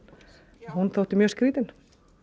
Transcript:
hún þótti mjög skrýtin